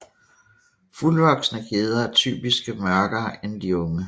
Fuldvoksne gedder er typisk mørkere end de unge